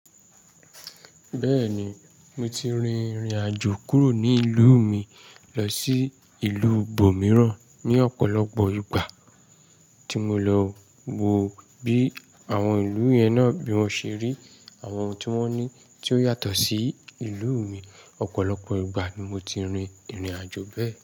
Bẹ́ẹ̀ni, mo ti rin ìrìnàjò kúrò ní ìlú mi lọ sí ìlú ibò mìíràn ní ọ̀pọ̀lọpọ̀ ìgbà tí mo lọ wo bí àwọn ìlú yẹn náà bí wọ́n ṣe rí, àwọn ohun tí wọ́n ní tí ó yàtọ̀ sí ìlú mi. Ọ̀pọ̀lọpọ̀ ìgbà ni mo ti rin ìrìnàjò bẹ́ẹ̀.